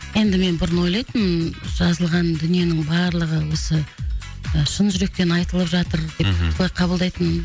енді мен бұрын ойлайтынмын жазылған дүниенің барлығы осы шын жүректен айтылып жатыр деп мхм солай қабылдайтынмын